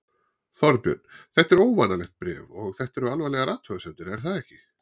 Þorbjörn, þetta er óvanalegt bréf og þetta eru alvarlegar athugasemdir er það ekki?